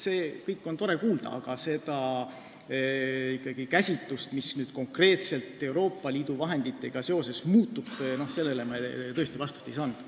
Seda kõike on tore kuulda, aga seda käsitlust, mis konkreetselt Euroopa Liidu vahenditega seoses muutub, me tõesti ei kuulnud.